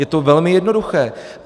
Je to velmi jednoduché.